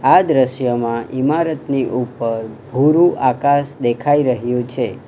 આ દ્રશ્યમાં ઇમારતની ઉપર ભૂરુ આકાશ દેખાઈ રહ્યું છે.